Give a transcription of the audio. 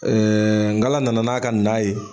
nkala nana n'a ka na ye